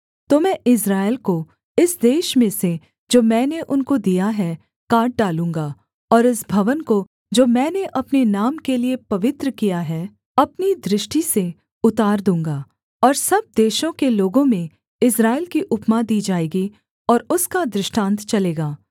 तो मैं इस्राएल को इस देश में से जो मैंने उनको दिया है काट डालूँगा और इस भवन को जो मैंने अपने नाम के लिये पवित्र किया है अपनी दृष्टि से उतार दूँगा और सब देशों के लोगों में इस्राएल की उपमा दी जाएगी और उसका दृष्टान्त चलेगा